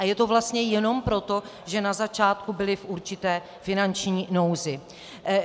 A je to vlastně jenom proto, že na začátku byli v určité finanční nouzi.